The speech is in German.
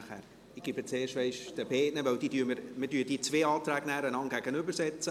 Ich gebe zuerst den beiden Antragstellerinnen das Wort, weil wir diese zwei Anträge dann einander gegenüberstellen.